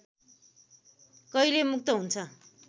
कहिले मुक्त हुन्छ